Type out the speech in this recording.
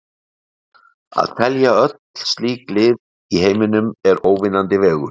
Að telja öll slík lið í heiminum er óvinnandi vegur.